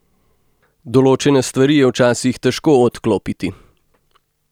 Določene stvari je včasih težko odklopiti.